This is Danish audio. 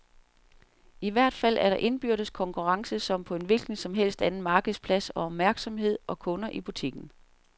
I hvert fald er der indbyrdes konkurrence som på en hvilken som helst markedsplads om opmærksomhed og kunder i butikken.